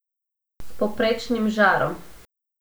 S povprečnim žarom.